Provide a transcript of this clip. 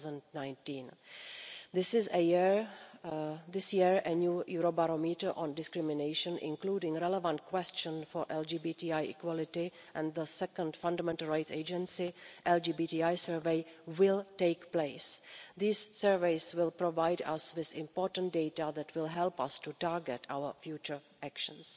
2019. This year a new Eurobarometer on discrimination, including relevant questions for LGBTI equality, and the second Fundamental Rights Agency LGBTI survey will take place. These surveys will provide us with important data that will help us to target our future actions.